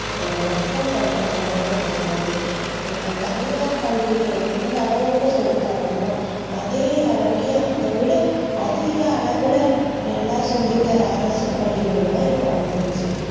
நம்ப மக்கள் பண்ற தவறுதா இது எல்லாம ஏனா தனியார் பள்ளியில எந்த அளவுக்கு சொல்லி தராங்களோ அதே அளவுகே அதைவிட அதிக அளவுல நல்லா சொல்லி தர அரசு பள்ளிகள் லா இப்போ வந்துருச்சி